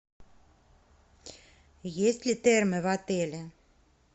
есть ли термы в отеле